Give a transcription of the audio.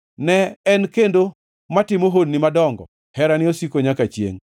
Ne en kendo matimo honni madongo, Herane osiko nyaka chiengʼ.